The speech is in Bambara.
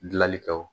Gilali kɛ